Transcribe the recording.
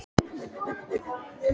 Ég man að Pjatti beið mín með ólina.